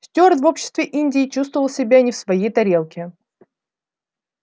стюарт в обществе индии чувствовал себя не в своей тарелке